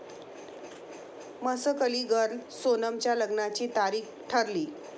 Masakali girl' सोनमच्या लग्नाची तारीख ठरली